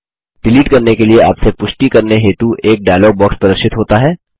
delete करने के लिए आपसे पुष्टि करनी हेतु एक डायलॉग बॉक्स प्रदर्शित होता है